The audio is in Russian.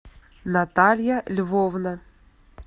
наталья львовна